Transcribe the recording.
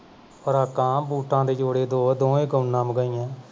frock ਕਾ boot ਆਂ ਦੇ ਜੋੜੇ ਦੋ ਦੋਵੇਂ ਹੀ ਕੋਨਾ ਮਗਾਈਆਂ ਸੀ